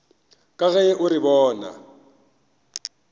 ka ge o re bona